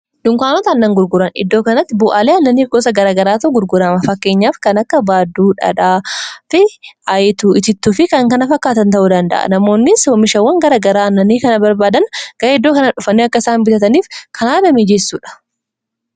dunkaanota annan gurguran iddoo kanatti bu'aalii annaniif gosa garagaraatu gurgurama fakkeenyaaf kan akka baadduu, dhaadhaa fi aayituu, itittuu fi kankana fakkaatan ta'uu danda'a namoonnis womishawwan garagaraa annanii kana barbaadan garee iddoo kana dhufanni akkasaan bitataniif kanaana miijeessuudha